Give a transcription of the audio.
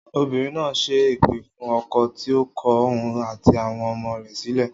Obìnrin náà ṣẹ́ èpè fún ọkọ̀ tí ó kọ òun àti àwọn ọmọ rẹ̀ sílẹ̀